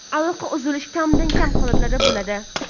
Aloqa uzilishi kamdan kam holatlarda bo‘ladi.